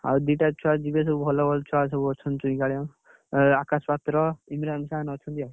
ଆଉ ଦିଟା ଛୁଆ ଯିବେ ସବୁ ଭଲ ଭଲ ଛୁଆ ସବୁ ଅଛନ୍ତି, ଚୁଇଁ, କାଳିଆ, ଆକାଶ ପାତ୍ର, ଇବ୍ରାନ ଖାନ୍‌ ଅଛନ୍ତି ସବୁ ଆଉ।